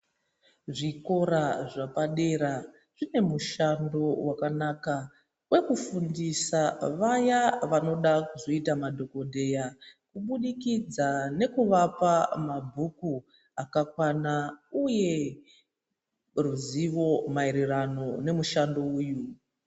Zvikora zvepadera zvine mushando wakanaka wokufundisa vaya vanoda kuzoita madhokodheya kubudikidza nekuvapa mabhuku katakana uye ruzivo mayererano nemushando uyu.